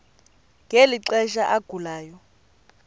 ngeli xesha agulayo